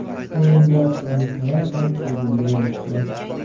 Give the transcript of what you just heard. O‘yinda Dris Mertens dublga erishdi.